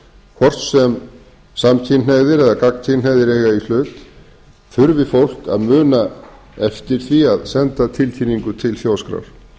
hvort sem samkynhneigðir eða gagnkynhneigð eiga í hlut þurfi fólk að muna eftir því að senda tilkynningu til þjóðskrár